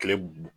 Kile